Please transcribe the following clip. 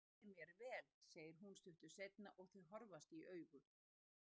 Ég skemmti mér vel, segir hún stuttu seinna og þau horfast í augu.